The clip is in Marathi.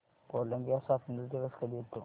कोलंबिया स्वातंत्र्य दिवस कधी येतो